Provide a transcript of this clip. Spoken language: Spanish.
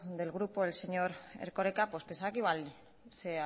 del grupo el señor erkoreka pues pensaba que igual se